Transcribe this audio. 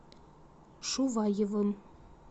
шуваевым